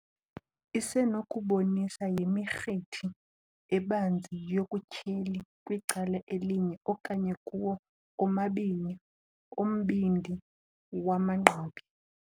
Isenokubonisa yimirhithi ebanzi yobutyheli kwicala elinye okanye kuwo omabini ombindi wamagqabi.